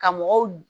Ka mɔgɔw